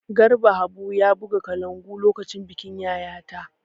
Garba Habu ya buga kalangu lokacin bikin Yayata.